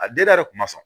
A denda yɛrɛ kun ma sɔn